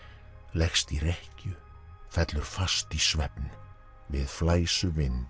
leggst í rekkju fellur fast í svefn við